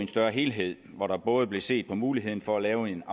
større helhed hvor der både blev set på muligheden for at lave en